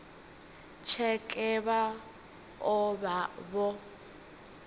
tsheke vha o vha vho